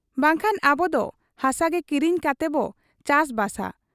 ᱵᱟᱝᱠᱷᱟᱱ ᱟᱵᱚ ᱫᱚ ᱦᱟᱥᱟᱜᱮ ᱠᱤᱨᱤᱧ ᱠᱟᱛᱮᱵᱚ ᱪᱟᱥ ᱵᱟᱥᱟ ᱾'